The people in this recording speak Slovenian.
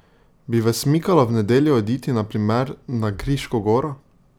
Bi vas mikalo v nedeljo oditi na primer na Kriško goro?